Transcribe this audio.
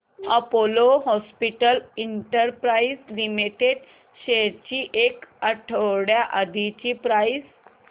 Apollo hospitals enterprise limited shares ची एक आठवड्या आधीची प्राइस